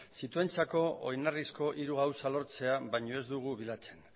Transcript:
zituenentzako oinarrizko hori gauza lortzea baino ez dugu bilatzen